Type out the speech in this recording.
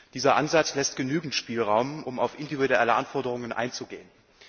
Dieser Ansatz lässt genügend Spielraum, um auf individuelle Anforderungen einzugehen.